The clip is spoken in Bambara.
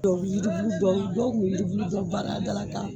Dɔw bɛ yiri bulu dɔw tun bɛ yiri bulu dɔw baara da la k'a